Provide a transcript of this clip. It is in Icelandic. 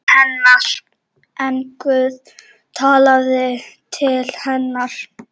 En Guð talaði til hennar.